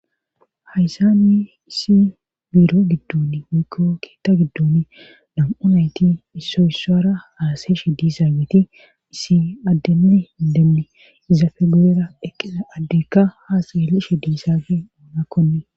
hayssanni isi buro giddon miikko keetta giddon dam7unayti isso yssara haaseshe diizaabeti isi addenne hindenni iza fegurera eqqisa addekka haasaelishe diizaabe oonakkoni